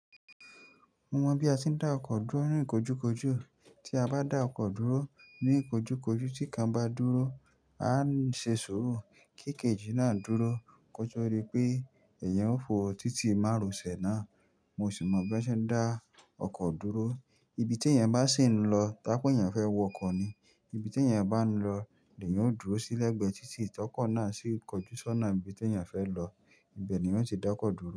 Mo mọ bí a se ń dá ọkọ̀ dúró ní ìkojúkojú, tí a bá dá ọkọ̀ dúró ní ìkojúkojú tí kan bá dúró, a ń ṣe sùúrù kí kejì náà dúró, kó to di pé ẹ̀yẹn ó fò títì márosẹ̀ náà. Mo sì mọ bí wọ́n ṣe ń dá ọkọ̀ dúró, ibi tí ẹ̀yẹn bá sì ń lọ tá pé ẹ̀yẹn fẹ́ wọ ọkọ̀ ni, ibi tí ẹ̀yẹn bá ń lọ ni leyan o dúró sí lẹ́gbẹ̀ẹ́ títì tí ọkọ̀ náà sì kọjú sọ́nà ibi tí ẹ̀yẹn fẹ́ lọ, ibẹ̀ ni yóò ti dá ọkọ̀ dúró.